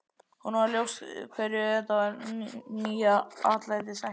Honum varð ljóst hverju þetta nýja atlæti sætti.